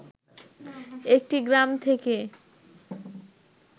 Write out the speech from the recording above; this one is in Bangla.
একটি গ্রাম থেকে